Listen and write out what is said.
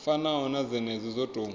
fanaho na dzenedzo dzo tou